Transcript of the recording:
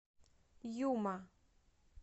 юма